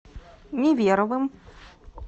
неверовым